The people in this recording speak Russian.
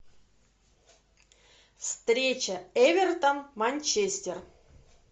встреча эвертон манчестер